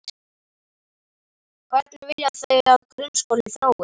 Hvernig vilja þau að grunnskólinn þróist?